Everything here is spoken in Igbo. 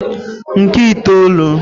nke itoolu